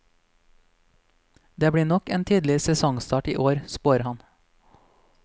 Det blir nok en tidlig sesongstart i år, spår han.